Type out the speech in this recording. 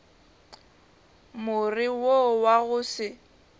more wo wa go se